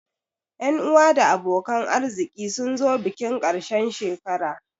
Ƴan uwa da abokan arziki sun zo bikin ƙarshen shekara